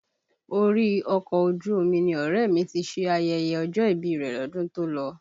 Orí ọkọ̀ ojú omi ni ọ̀rẹ́ ẹ̀ mi ti ṣe ayẹyẹ ọjọ́ ìbí rẹ̀ lọ́dún tó lọ